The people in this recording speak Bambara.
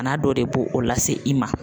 Bana dɔ de b'o o lase i ma.